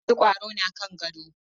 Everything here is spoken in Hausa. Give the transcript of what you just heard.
Har yanzu kwaro na kan gado.